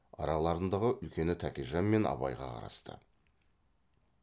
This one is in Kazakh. араларындағы үлкені тәкежан мен абайға қарасты